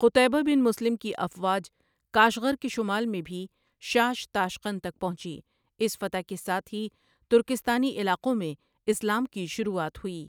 قطیبہ bin Muslim کی افواج Kashgar کے شمال میں بھی شاش تاشقند تک پہنچی اس فتح کے ساتھ ہی ترکستانی علاقوں میں اسلام کی شروعات ہوئی